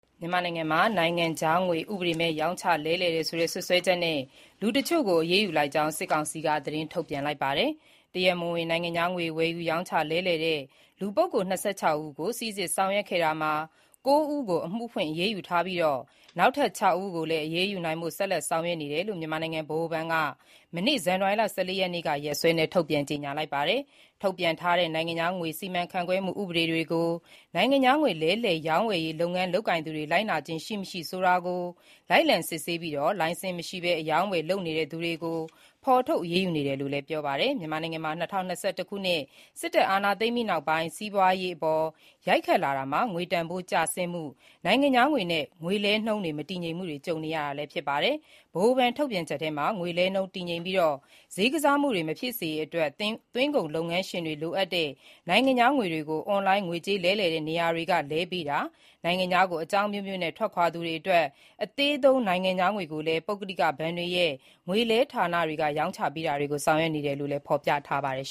မြန်မာနိုင်ငံမှာ နိုင်ငံခြားငွေ ဥပဒေမဲ့ ရောင်းချလဲလှယ်တယ်ဆိုတဲ့ စွပ်စွဲချက်နဲ့ လူတချို့ကို အရေးယူ လိုက်ကြောင်း စစ်ကောင်စီက သတင်းထုတ်ပြန်ပါတယ်။ တရားမဝင် နိုင်ငံခြားငွေဝယ်ယူရောင်းချလဲလှယ်တဲ့ လူပုဂ္ဂိုလ် ၂၆ ဦးကို စိစစ်ဆောင်ရွက်ခဲ့တာမှာ ၉ ဦးကို အမှုဖွင့်အရေးယူထားပြီး နောက်ထပ် ၆ ဦးကိုလည်း အရေးယူနိုင်ဖို့ ဆက်လက် ဆောင်ရွက်နေတယ်လို့ မြန်မာနိုင်ငံဗဟိုဘဏ်က မနေ့ ဇန်နဝါရီ ၁၄ ရက်နေ့ ရက်စွဲနဲ့ ကြေညာချက် ထုတ်ပြန်ခဲ့တာပါ။ ထုတ်ပြန်ထားတဲ့ နိုင်ငံခြားငွေ စီမံခန့်ခွဲမှုဥပဒေတွေကို နိုင်ငံခြားငွေ လဲလှယ် ရောင်းဝယ်ရေးလုပ်ငန်း လုပ်ကိုင်သူတွေ လိုက်နာခြင်း ရှိမရှိဆိုတာကို လိုက်လံစစ်ဆေးပြီး လိုင်စင်မရှိဘဲ အရောင်း အဝယ်လုပ်နေသူတွေကို ဖော်ထုတ် အရေးယူနေတယ်လို့လည်း ပြောပါတယ်။ မြန်မာနိုင်ငံမှာ ၂၀၂၁ ခုနှစ် စစ်တပ်က အာဏာသိမ်းပြီးနောက်ပိုင်း စီးပွားရေးအပေါ် ရိုက်ခတ်လာရာမှာ ငွေတန်ဖိုးကျဆင်းမှု၊ နိုင်ငံခြားငွေနဲ့ လဲလှယ်နှုန်းမတည်ငြိမ်မှုတွေကြုံနေရတာပါ။ ဗဟိုဘဏ်ထုတ်ပြန်ချက်မှာ ငွေလဲနှုန်းတည်ငြိမ်ပြီး ဈေးကစားမှုတွေ မဖြစ်စေရေးအတွက် သွင်းကုန်လုပ်ငန်းရှင်တွေ လိုအပ်တဲ့ နိုင်ငံခြားငွေတွေကို အွန်လိုင်း ငွေကြေး လဲလှယ်တဲ့နေရာတွေက လဲပေးတာ၊ နိုင်ငံခြားကို အကြောင်းအမျိုးမျိုးနဲ့ ထွက်ခွာသူတွေအတွက် အသေးသုံး နိုင်ငံခြားငွေကိုလည်း ပုဂ္ဂလိကဘဏ်တွေရဲ့ ငွေလဲဌာနတွေကနေ ရောင်းချပေးတာတွေ ဆောင်ရွက်နေတယ်လို့လည်း ဖော်ပြထားပါတယ်